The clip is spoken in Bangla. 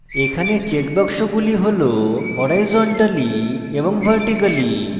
এখানে check বাক্সগুলি হল horizontally এবং vertically